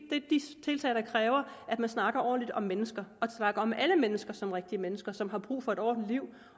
tiltag der kræver at man snakker ordentligt om mennesker og snakker om alle mennesker som rigtige mennesker som har brug for et ordentligt liv